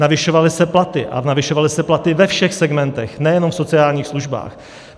Navyšovaly se platy, a navyšovaly se platy ve všech segmentech, nejenom v sociálních službách.